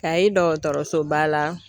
Ayi dɔgɔtɔrɔsoba la